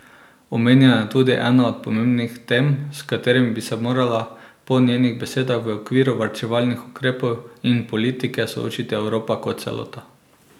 Omenjeno je tudi ena od pomembnih tem, s katerimi bi se morala po njenih besedah v okviru varčevalnih ukrepov in politike soočiti Evropa kot celota.